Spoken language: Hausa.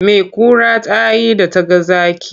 Me kura ta yi da ta ga zaki?